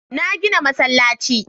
Na gina masallaci.